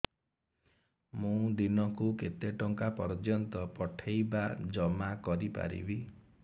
ମୁ ଦିନକୁ କେତେ ଟଙ୍କା ପର୍ଯ୍ୟନ୍ତ ପଠେଇ ବା ଜମା କରି ପାରିବି